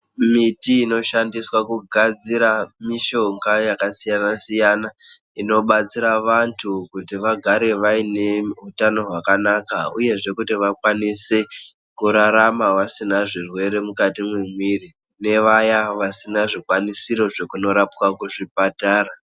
Mimbiti inoshandiswa kugadzira mishonga yakasiyana-siyana. Inobatsira vanthu kuti vagare vaine utano hwakanaka, uyezve kuti vakwanise kurarama vasina zvirwere mukati mwemwiri, ne vaya vasina zvikwanisiro zvekundorapwa kuzvibhedhlera.